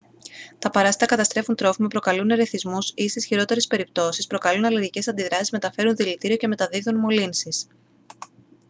τα παράσιτα καταστρέφουν τρόφιμα προκαλούν ερεθισμούς ή στις χειρότερες περιπτώσεις προκαλούν αλλεργικές αντιδράσεις μεταφέρουν δηλητήριο και μεταδίδουν μολύνσεις